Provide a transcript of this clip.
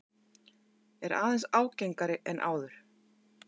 Er aðeins ágengari en áður.